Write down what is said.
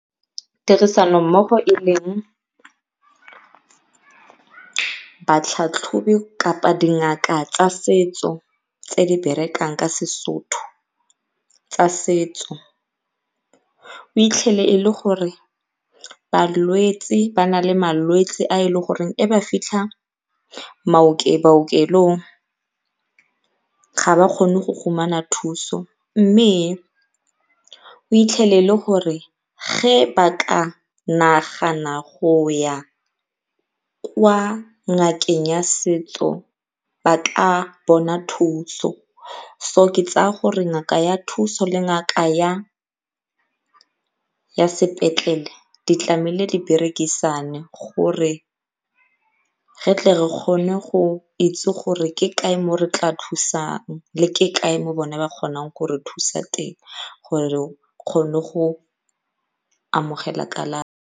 Tirisanommogo e leng batlhatlhobi kapa dingaka tsa setso tse di berekang ka seSotho tsa setso e le gore balwetse ba na le malwetse a e le goreng ge a fitlha baokelong ga ba kgone go thuso mme o e le gore ge ba ka nagana go ya kwa ngakeng ya setso ba ka bona thuso. So ke tsaya gore ngaka ya thuso le ngaka ya sepetlele di tlameile di berekisane gore ge tle re kgone go itse gore ke kae mo re tlaa thusang mme ke kae mo bona ba kgonang go re thusa teng gore re kgone go amogela kalafi.